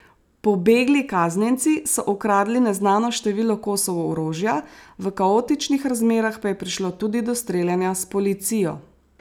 Pobegli kaznjenci so ukradli neznano število kosov orožja, v kaotičnih razmerah pa je prišlo tudi do streljanja s policijo.